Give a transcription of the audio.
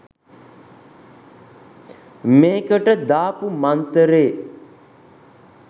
මේකට දාපු මන්තරේ